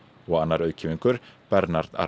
og annar auðkýfingur Bernard